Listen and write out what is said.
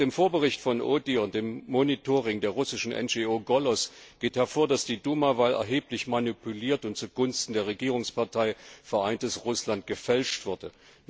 Aus dem Vorbericht vom BDIMR und dem Monitoring der russischen NGO Golos geht hervor, dass die Duma Wahl erheblich manipuliert und zugunsten der Regierungspartei Vereintes Russland gefälscht wurde.